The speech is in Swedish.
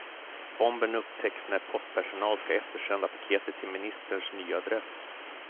Bomben upptäcks när postpersonal ska eftersända paketet till ministerns nya adress.